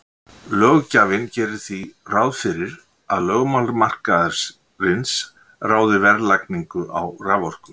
Löggjafinn gerir því ráð fyrir því að lögmál markaðarins ráði verðlagningu á raforku.